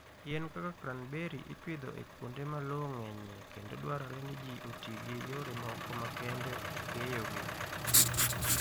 Yien kaka cranberry ipidho e kuonde ma lowo ng'enyie kendo dwarore ni ji oti gi yore moko makende e keyogi.